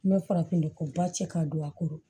Ne farafin ko ba cɛ ka don a kɔrɔ